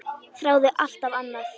Þráði alltaf annað.